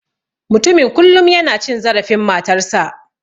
Mutumin kullum yana cin zarafin matarsa.